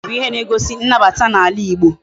Oji bu ihe na egosi nnabata na ala igbo